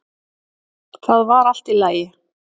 Það var allt í lagi.